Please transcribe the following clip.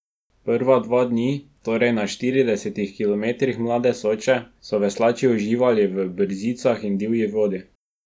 Prva dva dni, torej na štiridesetih kilometrih mlade Soče, so veslači uživali v brzicah in divji vodi.